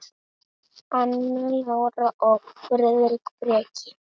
Anna Lára og Friðrik Breki.